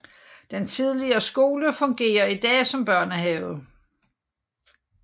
Den tidligere skole fungerer i dag som børnehave